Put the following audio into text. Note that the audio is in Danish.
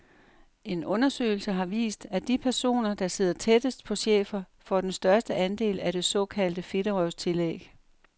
En undersøgelse har vist, at de personer, der sidder tættest på chefer, får den største andel af det såkaldte fedterøvstillæg.